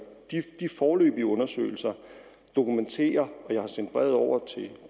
de foreløbige undersøgelser dokumenterer og jeg har sendt brevet over